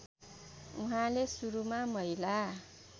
उहाँले सुरुमा महिला